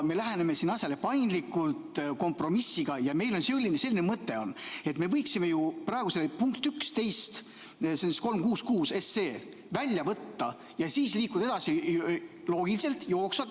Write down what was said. Me läheneme siin asjale paindlikult, kompromissiga, ja meil on selline mõte, et me võiksime ju praegu selle punkti 11 sellest seaduseelnõust 366 välja võtta ja siis liikuda edasi loogiliselt, jooksvalt.